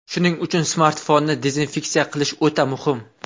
Shuning uchun smartfonni dezinfeksiya qilish o‘ta muhim.